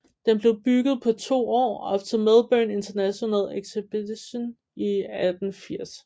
Den blev bygget på to år op til Melbourne International Exhibition i 1880